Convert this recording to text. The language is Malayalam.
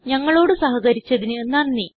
ഞങ്ങളോട് സഹകരിച്ചതിന് നന്ദി